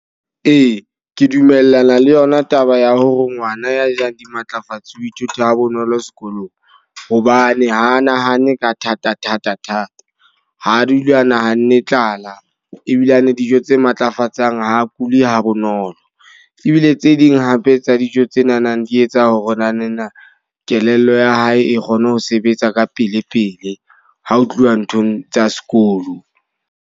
Ee, ke dumellana le yona taba ya hore ngwana ya jang dimatlafatse o ithuta bonolo sekolong. Hobane ha a nahane ka thata thata thata. Ha dula a nahanne tlala. Ebilane dijo tse matlafatsang ha a kuli ha bonolo. Ebile tse ding hape tsa dijo tse nanang di etsa hore nana kelello ya hae e kgone ho sebetsa ka pele pele ha ho tluwa nthong tsa sekolo.